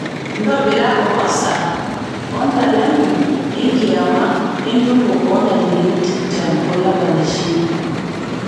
ntobira orosa o ntalengo enkiama entumo ooh ntarikini tikitam olapa le shirini